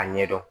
A ɲɛ dɔn